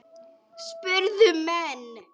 spurðu menn.